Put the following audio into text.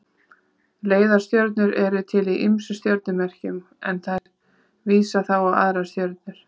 Leiðarstjörnur eru til í ýmsum stjörnumerkjum en þær vísa þá á aðrar stjörnur.